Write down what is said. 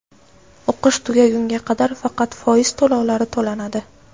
O‘qish tugagunga qadar faqat foiz to‘lovlari to‘lanadi.